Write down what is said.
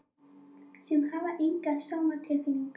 Sem hafa enga sómatilfinningu.